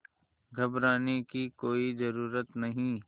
घबराने की कोई ज़रूरत नहीं